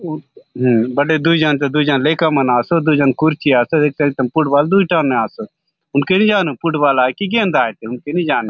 हु बाटे दुय जन दुय जन लेका मन आसोत दुय जन कुर्सी आसे एक टन दुय टन फुटबॉल दुय टन ने आसोत हुनके नी जानोत फुटबॉल आय की गेंद आय हुनके नी जानोत।